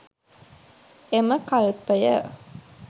එම කල්පය